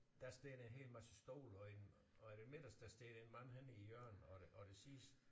Der står der en hel masse stole og i og i det midterste står der en mand henne i hjørnet og det og det sidste